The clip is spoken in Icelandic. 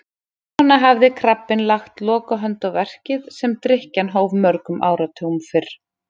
Svona hafði krabbinn lagt lokahönd á verkið sem drykkjan hóf mörgum áratugum fyrr.